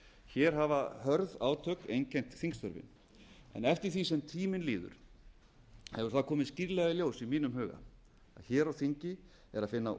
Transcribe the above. hér hafa hörð átök einkennt þingfundi en eftir því sem tíminn líður hefur það komið skýrlega í ljós í mínum huga að hér á þingi er að finna